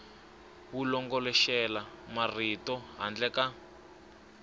wu longoloxela marito handle ka